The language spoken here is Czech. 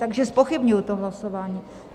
Takže zpochybňuji to hlasování.